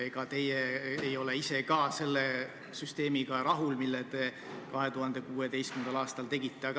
Ega te ise ei ole ka selle süsteemiga rahul, mille te 2016. aastal tegite.